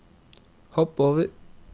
hopp over